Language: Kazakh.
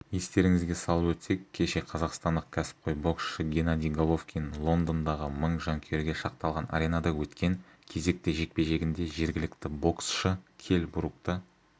естеріңізге салып өтсек кеше қазақстандық кәсіпқой боксшы геннадий головкин лондондағы мың жанкүйерге шақталған аренада өткен кезекті жекпе-жегінде жергілікті боксшы келл брукты